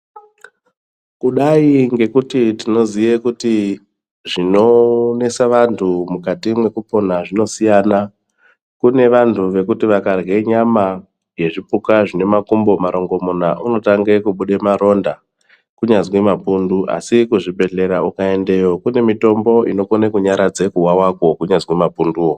Kudai ngekuti tinoziye kuti zvinonese vantu mukati mwekupona zvinosiyana. Kune vantu vekuti vakarye nyama yezvipuka zvine makumbo marongomuna unotange kubude maronda kunyazi mapundu .Asi kuzvibhedhlera ukaendeyo kune mitombo inokone kunyaradza kuwawakwo kunyazi mapunduwo.